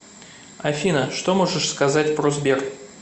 афина что можешь сказать про сбер